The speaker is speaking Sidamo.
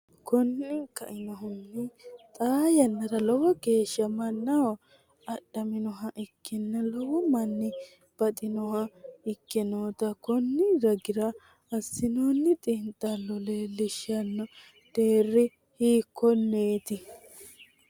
Konninni kainohunni, xaa yannara lowo geeshsha mannaho adhaminoha ikkenna lowo manni baxinoha ikke noota konni ragira assinoonni xiinxallo leellishshanno, deerri hiikkonneeti?